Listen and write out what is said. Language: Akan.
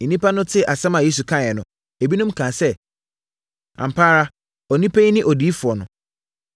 Nnipa no tee asɛm a Yesu kae no, ebinom kaa sɛ, “Ampa ara, onipa yi ne odiyifoɔ no!”